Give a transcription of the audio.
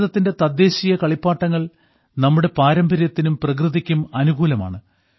ഭാരതത്തിന്റെ തദ്ദേശീയ കളിപ്പാട്ടങ്ങൾ നമ്മുടെ പാരമ്പര്യത്തിനും പ്രകൃതിക്കും അനുകൂലമാണ്